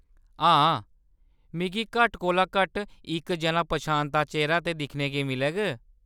हां, मिगी घट्ट कोला घट्ट इक जना पन्छांता चेह्‌रा ते दिक्खने गी मिलग।